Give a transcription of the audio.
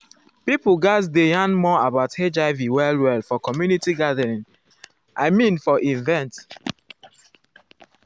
pipo gatz dey yarn more about hiv well well for community gathering i i mean for events.